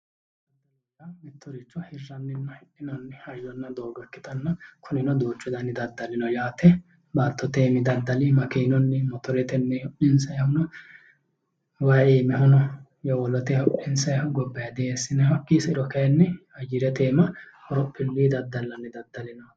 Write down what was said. Mittoricho hirranninna hidhinanni hayyonna doogo ikkitanna kunino duuchu dani daddali no yaate baattote iimi daddali makeenunnimotoretenni hodhinisayihu no wayi iimihu no yowolotey hodhinisayihu gobbayidii eesinayihu hakii sairo kayinni ayerete iima horophiluy Daddalanni daddali no yaate